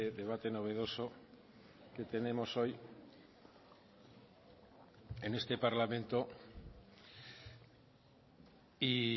debate novedoso que tenemos hoy en este parlamento y